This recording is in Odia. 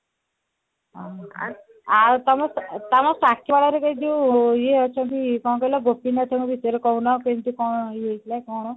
ଓଃହୋ ଆଉ ତମ ଘରେ ସେ ଯୋଉ ଇଏ ସବୁ କଣ କହିଲ ଗୋପୀନାଥ ଙ୍କ ବିଷୟରେ କହୁନ ଯୋଉ କଣ ହେଇଥିଲା କଣ